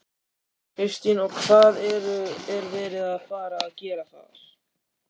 Kristín: Og hvað er verið að fara að gera þar?